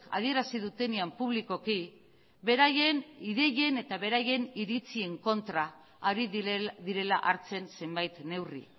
adierazi dutenean publikoki beraien ideien eta beraien iritzien kontra ari direla hartzen zenbait neurri